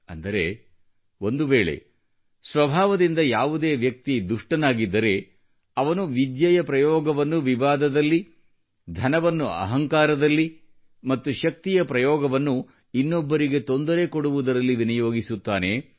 ಅಂದರೆ ಒಂದುವೇಳೆ ಸ್ವಭಾವದಿಂದ ಯಾವುದೇ ವ್ಯಕ್ತಿಯು ದುಷ್ಟನಾಗಿದ್ದರೆ ಅವನು ವಿದ್ಯೆಯ ಪ್ರಯೋಗವನ್ನು ವಿವಾದದಲ್ಲಿ ಧನವನ್ನು ಅಹಂಕಾರದಲ್ಲಿ ಮತ್ತು ಶಕ್ತಿಯ ಪ್ರಯೋಗವನ್ನು ಇನ್ನೊಬ್ಬರಿಗೆ ತೊಂದರೆ ಕೊಡುವುದರಲ್ಲಿ ವಿನಿಯೋಗಿಸುತ್ತಾನೆ